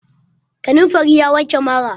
Kanamfari ya wanke mara.